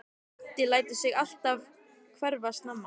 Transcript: Addi lætur sig alltaf hverfa snemma.